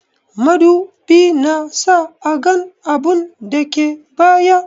Madubi na sa a gan abun dake baya.